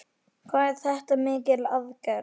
Hvað er þetta mikil aðgerð?